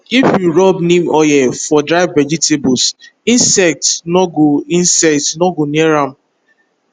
if you rub neem oil for dry vegetables insect no go insect no go near am